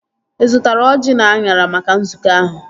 Ị zụtara ọjị na anyara maka nzukọ ahụ?